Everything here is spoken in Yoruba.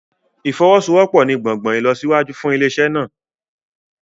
Ìfọwọ́sowọ́pọ̀ ní gbòngbòn ìlọsíwájú fún ilé-iṣẹ́ náà.